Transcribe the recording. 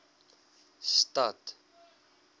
stad